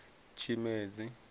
tshimedzi